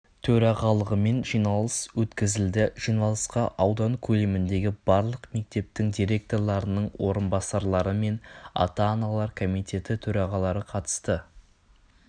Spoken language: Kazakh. төрағалығымен жиналыс өткізілді жиналысқа аудан көлеміндегі барлық мектептің директорларының орынбасарлары мен ата-аналар комитеті төрағалары қатысты